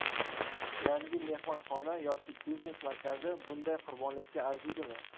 Yangi mehmonxona yoki biznes markazi bunday qurbonlikka arziydimi?